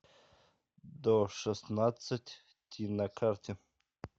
до шестнадцать ти на карте